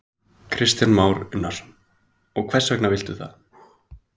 Kristján Már Unnarsson: Og hvers vegna viltu það?